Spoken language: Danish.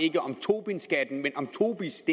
ikke tobinskatten men tobis